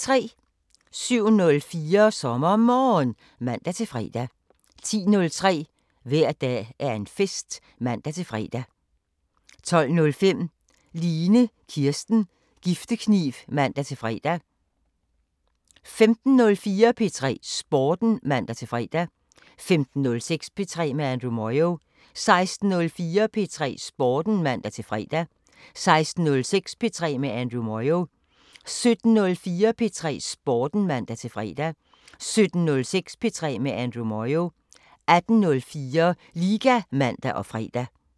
07:04: SommerMorgen (man-fre) 10:03: Hver dag er en fest (man-fre) 12:05: Line Kirsten Giftekniv (man-fre) 15:04: P3 Sporten (man-fre) 15:06: P3 med Andrew Moyo 16:04: P3 Sporten (man-fre) 16:06: P3 med Andrew Moyo 17:04: P3 Sporten (man-fre) 17:06: P3 med Andrew Moyo 18:04: Liga (man og fre)